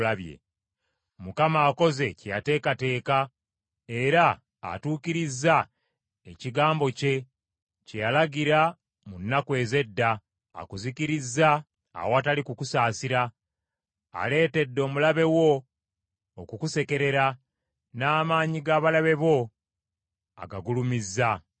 Mukama akoze kye yateekateeka, era atuukirizza ekigambo kye kye yalagira mu nnaku ez’edda. Akuzikirizza awatali kukusaasira, aleetedde omulabe wo okukusekerera, n’amaanyi g’abalabe bo agagulumizza.